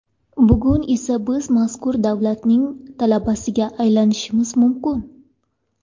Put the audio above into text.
Bugun esa biz mazkur davlatlarning talabasiga aylanishimiz mumkin.